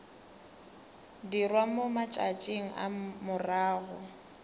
dirwa mo matšatšing a morago